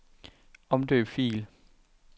Omdøb fil.